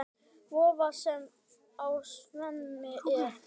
Vofa, sem á sveimi er.